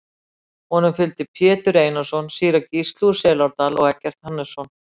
Honum fylgdu Pétur Einarsson, síra Gísli úr Selárdal og Eggert Hannesson.